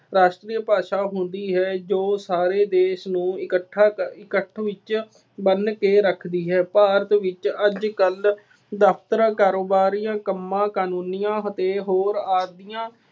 ਰਾਸ਼ਟਰੀ ਭਾਸ਼ਾ ਹੁੰਦੀ ਹੈ ਜੋ ਸਾਰੇ ਦੇਸ਼ ਨੂੰ ਇਕੱਠਾ ਵਿੱਚ ਬੰਨ੍ਹ ਕੇ ਰੱਖਦੀ ਹੈ। ਭਾਰਤ ਵਿੱਚ ਅੱਜ ਕੱਲ੍ਹ ਦਫਤਰਾਂ, ਕਾਰੋਬਾਰੀਆਂ, ਕੰਮਾਂ ਕਾਨੂੰਨੀਆਂ ਅਤੇ ਹੋਰ ਆਦਿਆਂ